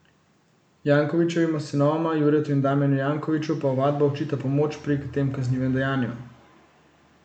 Jankovićevima sinovoma, Juretu in Damijanu Jankoviću, pa ovadba očita pomoč pri tem kaznivem dejanju.